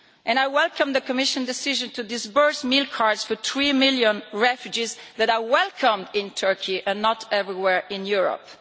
I welcome the Commission's decision to disburse meal cards for the three million refugees who are welcome in Turkey but not everywhere in Europe.